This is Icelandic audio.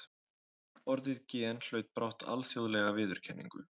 Orðið gen hlaut brátt alþjóðlega viðurkenningu.